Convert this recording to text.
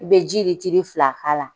I bɛ ji letiri fila k'a la.